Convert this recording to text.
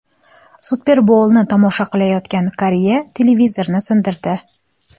Super Boulni tomosha qilayotgan qariya televizorni sindirdi .